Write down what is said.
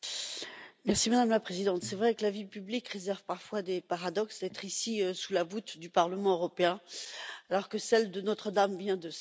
Madame la Présidente, c'est vrai que la vie publique réserve parfois des paradoxes, être ici sous la voûte du Parlement européen, alors que celle de Notre Dame vient de s'effondrer.